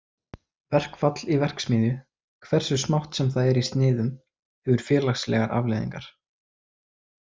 Verkfall í verksmiðju, hversu smátt sem það er í sniðum, hefur félagslegar afleiðingar.